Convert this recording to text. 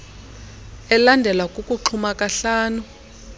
elandelwa kukuxhuma kahlanu